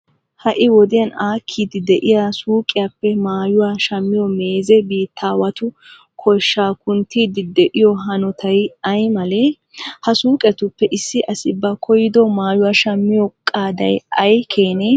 Ha"i wodiyan aakkiiddi de'iya suuqiyappe maayuwa shammiyo meezee biittaawatu koshshaa kunttiiddi de'iyo hanotay ay malee? Ha suuqetuppe issi asi ba koyyido maayuwa shammiyo qaaday ay keenee?